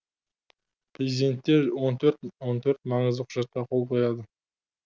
президенттер он төрт маңызды құжатқа қол қояды